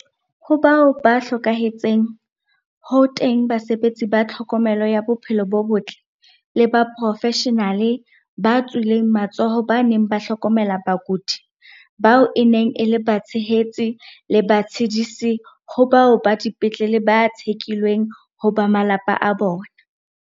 Ho bao ba hlokahetseng, ho teng basebetsi ba tlhokomelo ya bophelo bo botle, le baporofeshenale ba tswileng matsoho ba neng ba hlokomela bakudi, bao e neng e le batshehetsi le batshedisi ho bao ba dipetlele ba tshekilweng ho ba malapa a bona.